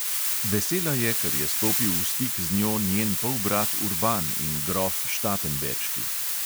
Vesela je, ker je stopil v stik z njo njen polbrat urban in grof štatenberški.